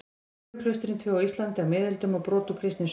Nunnuklaustrin tvö á Íslandi á miðöldum og brot úr kristnisögu.